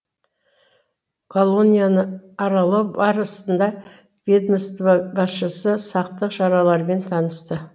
колонияны аралау барысында ведомство басшысы сақтық шараларымен танысты